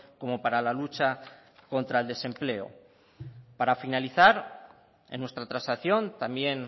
como para la lucha contra el desempleo para finalizar en nuestra transacción también